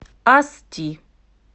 асти